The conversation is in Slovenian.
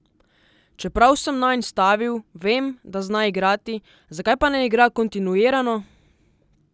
Čeprav sem nanj stavil, vem, da zna igrati, zakaj pa ne igra kontinuirano?